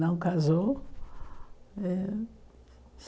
Não casou. Eh